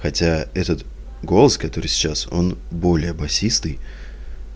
хотя этот голос который сейчас он более басистый